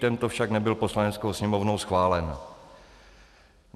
Tento však nebyl Poslaneckou sněmovnou schválen.